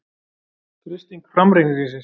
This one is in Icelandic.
Freisting framreikningsins